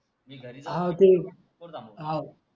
सोडला